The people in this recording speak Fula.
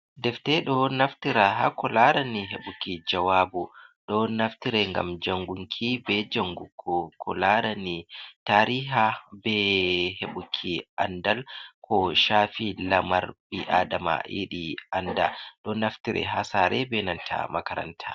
Defte, ɗon naftira ha ko larani heɓuki jawabu. Ɗo naftire ngam jangunki, bei jangugo ko laarani tariha be heɓuki andal ko shaafi lamar ɓi Adama yiɗi anda. Ɗo naftire ha sare be nanta makaranta.